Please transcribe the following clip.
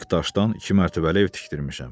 Kubik daşdan iki mərtəbəli ev tikdirmişəm.